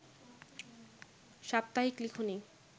সাপ্তাহিক লিখনী